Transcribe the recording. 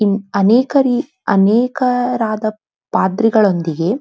ಇಲ್ ಅನೇಕ ರೀ ಅನೇಕಾರದ ಪಾದ್ರಿಗಳೊಂದಿಗೆ--